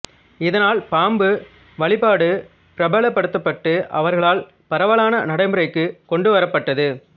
இதனால் பாம்பு வழிபாடு பிரபலப்படுத்தப்பட்டு அவர்களால் பரவலான நடைமுறைக்கு கொண்டு வரப்பட்டது